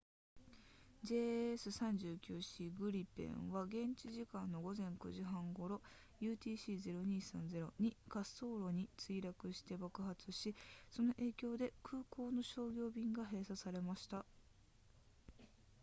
jas 39c グリペンは現地時間の午前9時30分頃 utc 0230に滑走路に墜落して爆発しその影響で空港の商業便が閉鎖されました